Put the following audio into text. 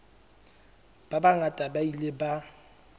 ba bangata ba ile ba